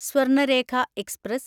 Swarnarekha express